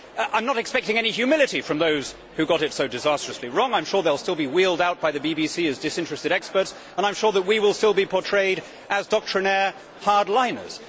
I am not expecting any humility from those who got it so disastrously wrong. I am sure they will still be wheeled out by the BBC as disinterested experts, and I am sure that we will still be portrayed as doctrinaire hardliners.